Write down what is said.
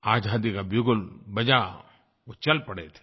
आज़ादी का बिगुल बजा वो चल पड़े थे